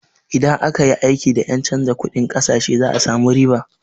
Idan aka yi aiki da ƴen canza kunɗin ƙasashe za a samu riba.